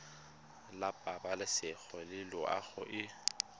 la pabalesego le loago e